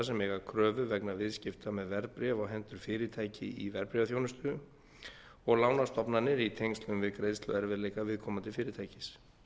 sem eiga kröfu vegna viðskipta með verðbréf á hendur fyrirtæki í verðbréfaþjónustu og lánastofnanir í tengslum við greiðsluerfiðleikum viðkomandi fyrirtækis